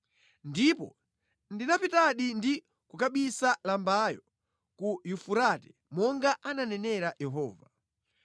Ndipo ndinapitadi ndi kukabisa lambayo ku Yufurate, monga anenera Yehova.